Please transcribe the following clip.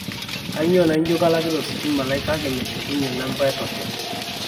kainyoo naijo kalakita ositima lai kake meshukunye namba e token